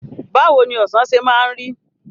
Bawoni Ọ̀sán ṣe máa ń rí?